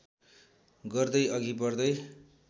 गर्दै अघि बढ्दै